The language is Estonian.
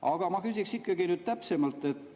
Aga ma küsiksin ikkagi täpsemalt.